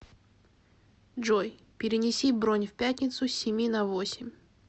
джой перенеси бронь в пятницу с семи на восемь